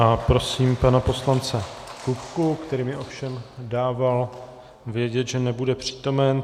A prosím pana poslance Kupku, který mi ovšem dával vědět, že nebude přítomen.